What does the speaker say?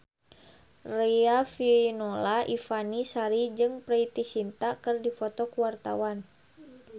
Riafinola Ifani Sari jeung Preity Zinta keur dipoto ku wartawan